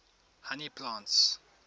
honey plants